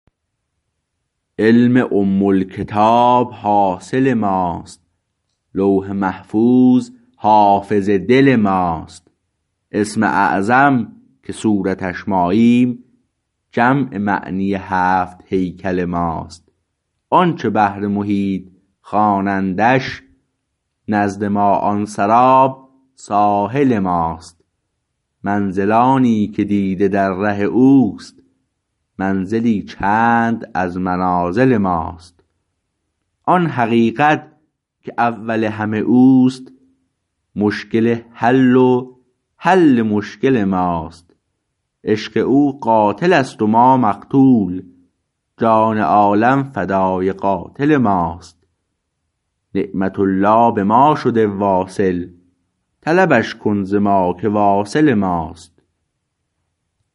علم ام الکتاب حاصل ماست لوح محفوظ حافظ دل ماست اسم اعظم که صورتش ماییم جمع معنی هفت هیکل ماست آنچه بحر محیط خوانندش نزد ما آن سراب ساحل ماست منزلانی که دیده در ره اوست منزلی چند از منازل ماست آن حقیقت که اول همه اوست مشکل حل و حل مشکل ماست عشق او قاتل است و ما مقتول جان عالم فدای قاتل ماست نعمت الله به ما شده واصل طلبش کن ز ما که واصل ماست